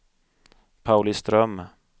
Pauliström